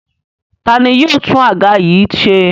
Ta ni yóò tún àga yìí ṣe?